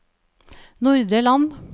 Nordre Land